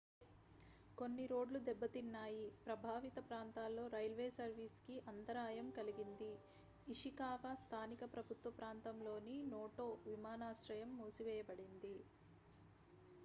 కొన్ని రోడ్లు దెబ్బతిన్నాయి ప్రభావిత ప్రాంతాల్లో రైల్వే సర్వీస్ కి అంతరాయం కలిగింది ఇషికావా స్థానిక ప్రభుత్వ ప్రాంతంలోని నోటో విమానాశ్రయం మూసివేయబడింది